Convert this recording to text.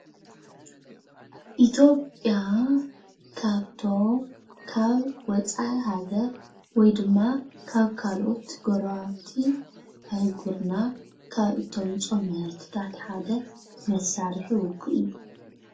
ኢ/ያ ካብቶም ካብ ወፃኢ ሃገር ወይ ድማ ካብ ካልኦት ጎረባብቲ ኣህጉርና ካብ እተምፅኦም መሳርሒ ሓደ ውግእ እዩ፡፡